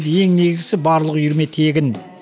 ең негізгісі барлық үйірме тегін